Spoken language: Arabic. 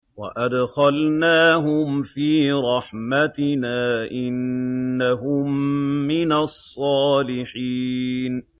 وَأَدْخَلْنَاهُمْ فِي رَحْمَتِنَا ۖ إِنَّهُم مِّنَ الصَّالِحِينَ